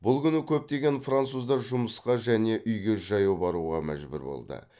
бұл күні көптеген француздар жұмысқа және үйге жаяу баруға мәжбүр болды